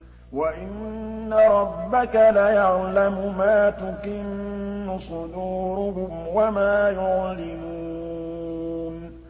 وَإِنَّ رَبَّكَ لَيَعْلَمُ مَا تُكِنُّ صُدُورُهُمْ وَمَا يُعْلِنُونَ